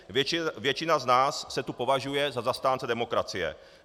Většina z nás se tu považuje za zastánce demokracie.